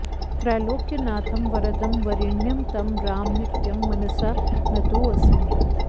त्रैलोक्यनाथं वरदं वरेण्यं तं राम नित्यं मनसा नतोऽस्मि